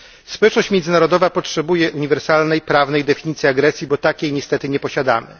Społeczność międzynarodowa potrzebuje uniwersalnej prawnej definicji agresji, bo takiej niestety nie posiadamy.